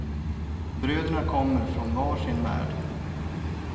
Bröderna kommer från var sin värld.